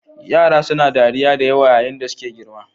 Yara suna dariya da yawa yayin da suke girma.